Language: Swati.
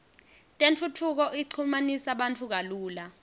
tentfutfuko ichumanisa bantfu kalula